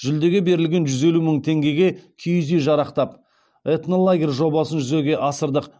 жүлдеге берілген жүз елу мың теңгеге киіз үй жарақтап этнолагерь жобасын жүзеге асырдық